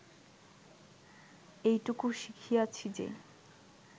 এইটুকু শিখিয়াছি যে